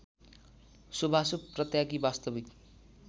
शुभाशुभ परित्यागी वास्तविक